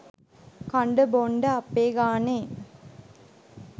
කන්ඩ බෝන්ඩ අපේ ගාණේ